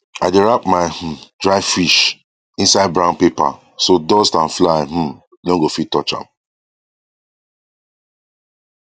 i dey wrap my um dry fish inside brown paper so dust and fly um no go fit touch am